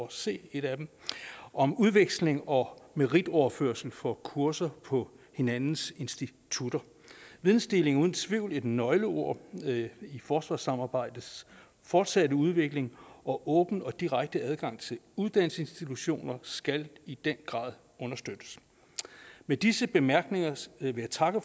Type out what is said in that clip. at se et af dem om udveksling og meritoverførsel for kurser på hinandens institutter vidensdeling er uden tvivl et nøgleord i forsvarssamarbejdets fortsatte udvikling og åben og direkte adgang til uddannelsesinstitutioner skal i den grad understøttes med disse bemærkninger vil jeg takke